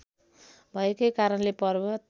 भएकै कारणले पर्वत